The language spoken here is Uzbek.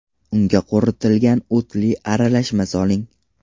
Unga quritilgan o‘tli aralashma soling.